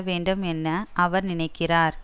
வேண்டும் என்ன அவர் நினைக்கிறார்